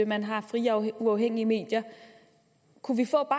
man har frie og uafhængige medier kunne vi få